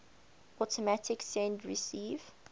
automatic send receive